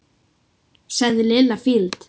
sagði Lilla fýld.